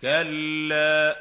كَلَّا ۚ